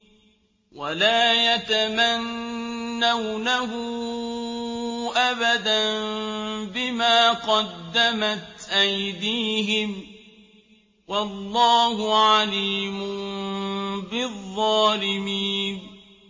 وَلَا يَتَمَنَّوْنَهُ أَبَدًا بِمَا قَدَّمَتْ أَيْدِيهِمْ ۚ وَاللَّهُ عَلِيمٌ بِالظَّالِمِينَ